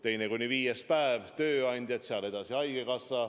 See on otsustatud ja kehtib 1. jaanuarist alates neli kuud.